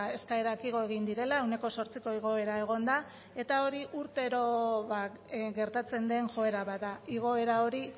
eskaerak igo egin direla ehuneko zortziko igoera egon da eta hori urtero gertatzen den joera bat da igoera hori